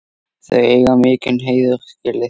Þau eiga mikinn heiður skilið.